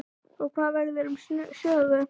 Og hvað verður um Sögu?